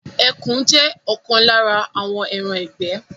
Ẹkùn jé òkan lára àwọn ẹran igbẹ